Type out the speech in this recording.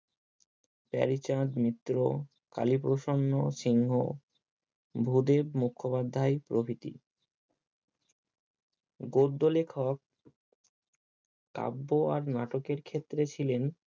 প্যারীচাঁদ মিত্র কালীপ্রসন্ন সিংহ ভূদেব মুখোপাধ্যায় প্রভৃতি গদ্য লেখক কাব্য আর নাটকের ক্ষেত্রে ছিলেন